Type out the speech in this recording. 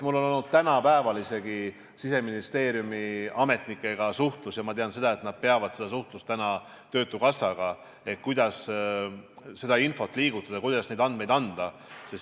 Mul oli isegi täna Siseministeeriumi ametnikega suhtlus ja ma tean, et neil on suhtlus täna ka töötukassaga, kuidas seda infot liigutada, kuidas neid andmeid anda.